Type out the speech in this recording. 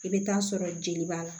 I bɛ taa sɔrɔ jeli b'a la